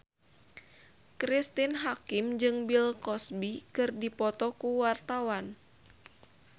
Cristine Hakim jeung Bill Cosby keur dipoto ku wartawan